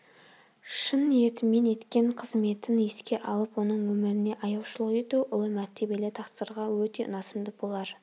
шын ниетімен еткен қызметін еске алып оның өміріне аяушылық ету ұлы мәртебелі тақсырға өте ұнасымды болар